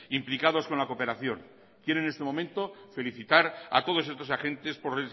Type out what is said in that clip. implicados con la cooperación quiero en este momento felicitar a todos estos agentes por